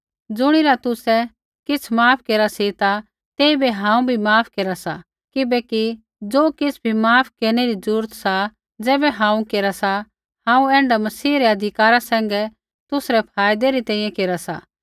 ज़ुणिरा तुसै किछ़ माफ केरा सी ता तेइबै हांऊँ भी माफ केरा सा किबैकि ज़ो किछ़ बी माफ केरनै री ज़रूरत सा ज़ैबै हांऊँ केरा सा हांऊँ ऐण्ढा मसीह रै अधिकारा सैंघै तुसरै फायदै री तैंईंयैं केरा सा